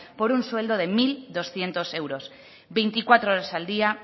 por un sueldo de mil doscientos euros veinticuatro horas al día